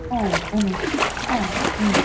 ആ ആ ആ ഉം.